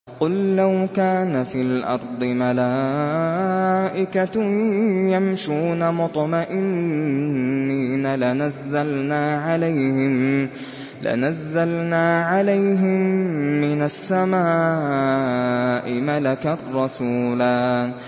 قُل لَّوْ كَانَ فِي الْأَرْضِ مَلَائِكَةٌ يَمْشُونَ مُطْمَئِنِّينَ لَنَزَّلْنَا عَلَيْهِم مِّنَ السَّمَاءِ مَلَكًا رَّسُولًا